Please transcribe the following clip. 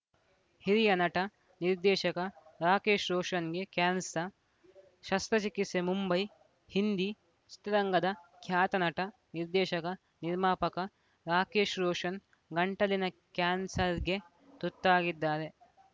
ಹಿರಿಯ ನಟ ನಿರ್ದೇಶಕ ರಾಕೇಶ್‌ ರೋಷನ್‌ಗೆ ಕ್ಯಾನ್ಸ ಶಸ್ತ್ರಚಿಕಿತ್ಸೆ ಮುಂಬೈ ಹಿಂದಿ ಚಿತ್ರರಂಗದ ಖ್ಯಾತ ನಟ ನಿರ್ದೇಶಕ ನಿರ್ಮಾಪಕ ರಾಕೇಶ್‌ ರೋಷನ್‌ ಗಂಟಲಿನ ಕ್ಯಾನ್ಸರ್‌ಗೆ ತುತ್ತಾಗಿದ್ದಾರೆ